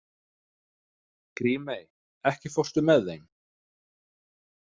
Grímey, ekki fórstu með þeim?